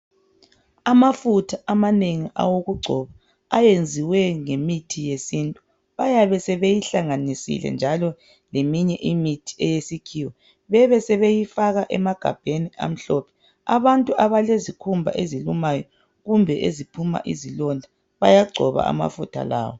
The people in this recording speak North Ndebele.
Amafutha amanengi awokugcoba ayenziwe ngemithi yesintu bayabe sebeyihlanganisile njalo leminye imithi eyesikhiwa bebe sebeyifaka emagabheni amhlophe. Abantu abalezikhumba ezilumayo kumbe eziphuma izilonda bayagcoba amafutha lawa